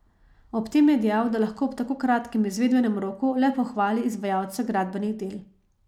Ob tem je dejal, da lahko ob tako kratkem izvedbenem roku le pohvali izvajalce gradbenih del.